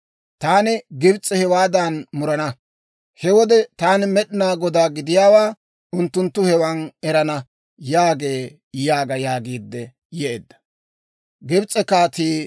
Taani Gibs'a hewaadan murana. He wode Taani Med'inaa Godaa gidiyaawaa unttunttu hewan erana» yaagee› yaaga» yaagiidde yeedda.